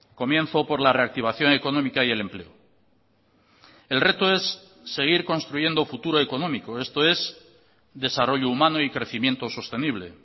comienzo por la reactivación económica y el empleo el reto es seguir construyendo futuro económico esto es desarrollo humano y crecimiento sostenible